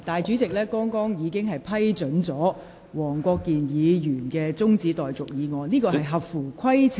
主席剛才已批准黃國健議員提出中止待續議案，而有關議案亦合乎規程。